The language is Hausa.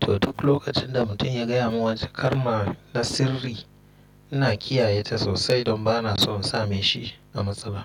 to duk lokacin da mutum ya gaya mun wata kalma na sirri ina kiyaye ta sosai don bana son same shi a matsala.